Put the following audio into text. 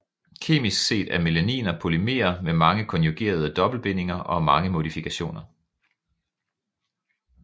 Kemisk set er melaniner polymere med mange konjugerede dobbeltbindinger og mange modifikationer